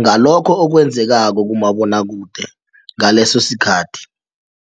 ngalokho okwenzekako kumabonwakude ngaleso sikhathi.